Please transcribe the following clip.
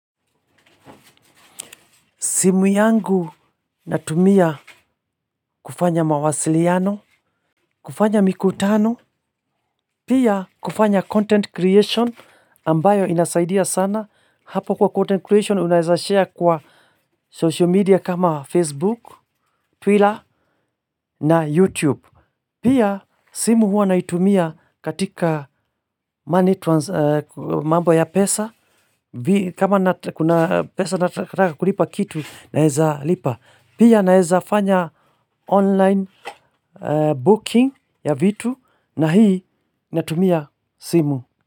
Simu yangu natumia kufanya mawasiliano, kufanya mikutano, pia kufanya content creation ambayo inasaidia sana. Hapo kwa content creation unaweza share kwa social media kama Facebook, Twitter na YouTube. Pia simu huwa naitumia katika mambo ya pesa, kama kuna pesa nataka kulipa kitu naweza lipa. Pia naweza fanya online booking ya vitu na hii natumia simu.